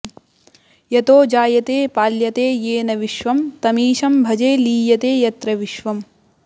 यतो जायते पाल्यते येन विश्वम् तमीशं भजे लीयते यत्र विश्वम्